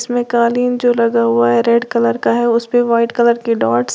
इसमें कालीन जो लगा हुआ है रेड कलर का है उस पे वाइट कलर के डॉट्स --